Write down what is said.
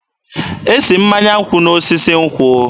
E si mmanya nkwụ n'osisi nkwụ.